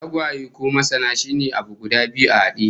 Tagwaye ko masna shine abu guda bibbiyu a hade